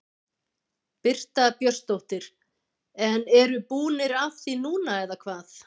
Birta Björnsdóttir: En eru búnir af því núna eða hvað?